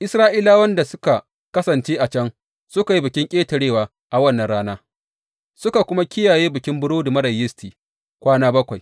Isra’ilawan da suka kasance a can suka yi Bikin Ƙetarewa a wannan rana, suka kuma kiyaye Bikin Burodi Marar Yisti kwana bakwai.